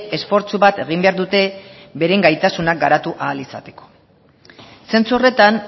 esfortzu bat egin behar dute beren gaitasunak garatu ahal izateko sentsu horretan